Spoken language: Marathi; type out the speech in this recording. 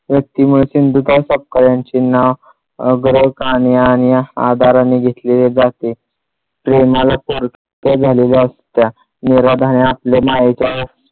व्यक्तीमुळे सिंधुताई सपकाळ यांचे नाव अग्रस्थानी आणि आदराने घेतले जाते. चर्चा झालेला असता निर्धाराने आपल्या मायेच्या